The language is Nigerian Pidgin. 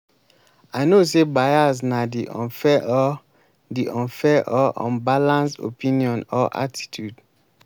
i know say bias na di unfair or di unfair or unbalanced opinion or attitude.